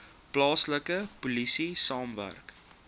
plaaslike polisie saamwerk